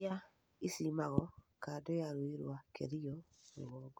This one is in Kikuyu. irĩa icimagwo kando ya rũĩ rũa Kerio rũgongo